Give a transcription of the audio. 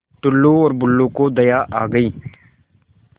टुल्लु और बुल्लु को दया आ गई